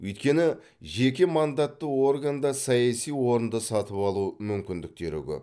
өйткені жеке мандатты органда саяси орынды сатып алу мүмкіндіктері көп